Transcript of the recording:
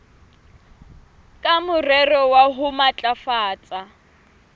ka morero wa ho matlafatsa